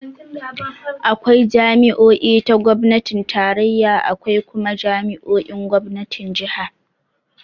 Akwai jami'o'i ta gomnatin tarayya, akwai kuma jami'o'in gomnatin jiha.